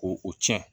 Ko o cɛn